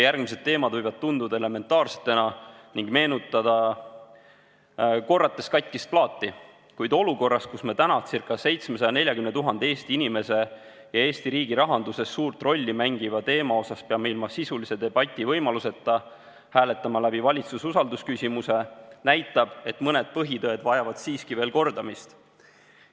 Järgmised teemad võivad tunduda elementaarsena ning meenutada korrates katkist plaati, kuid olukord, kus me täna ca 740 000 Eesti inimese elus ja Eesti riigi rahanduses suurt rolli mängival teemal peame ilma sisulise debati võimaluseta hääletama läbi valitsuse usaldusküsimuse, näitab, et mõned põhitõed vajavad siiski veel kordamist.